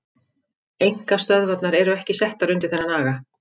Einkastöðvarnar eru ekki settar undir þennan aga.